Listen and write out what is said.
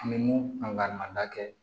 An bɛ mun an ka manda kɛ